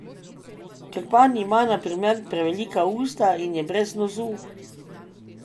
Krpan ima na primer prevelika usta in je brez nosu ...